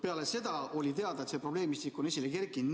Peale seda oli teada, et see probleemistik on esile kerkinud.